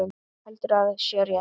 Heldur að sé rétt.